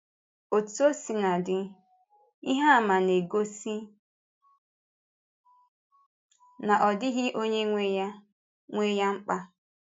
Ọ̀tú ọ̀ si n’dị, ihe àmà na-egosi na ọ dịghị onye nwe ya nwe ya mkpa.